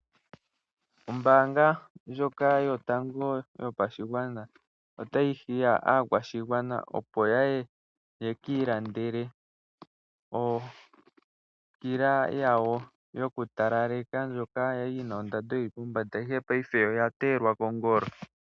Ombaanga ndjoka yotango yopashigwana otayi hiya aakwashigwana opo yaye ye kiilandele okila yawo yoku talaleke ndjoka yali yina ondando yili pombanda ihe payife oya teelwa kongolo.